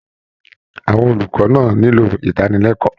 Àwọn olùkọ́ náà nílò ìdánilẹ́kọ̀ọ́